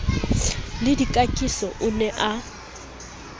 le dikakiso o ne a